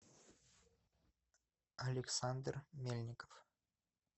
александр мельников